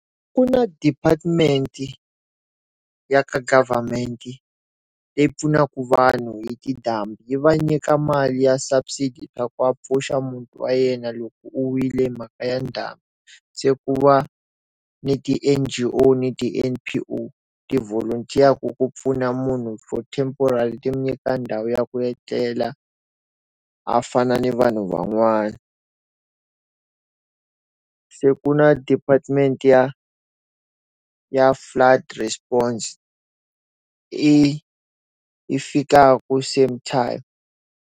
Ku na department-i ya ka government-i leyi pfunaka vanhu hi tindhambi yi va nyika mali ya subsidy ya ku a pfuxa muti wa yena loko wu wile mhaka ya ndhambi. Se ku va ni ti-N_G_O na ti-N_P_O ti volunter-yaku ku pfuna munhu for temporal-i ti nyika ndhawu ya ku etlela, a fana ni vanhu van'wani. Se kuna department-i ya ya flood response, yi fikaka same time.